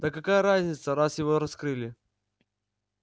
да какая разница раз его раскрыли